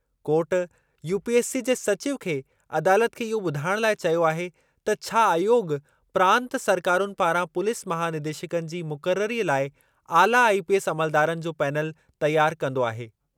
Court UPSC जे सचिव खे अदालत खे इहो ॿुधाइण लाइ चयो आहे त छा आयोॻ प्रांत सरकारुनि पारां पुलीस महानिदेशकनि जी मुक़ररीअ लाइ आला आईपीएस अमलदारनि जो पेनल तयारु कंदो आहे।